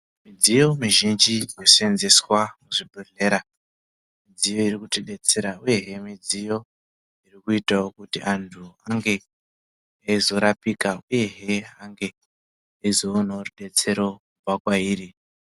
Midziyo mizhinji inoseenzeswa muzvibhedhlera midziyo irikutidetsera uyezve midziyo irikuita kuti antu ange aizorapika uyezve ange aizowanawo rudetsiro kubva kwairi.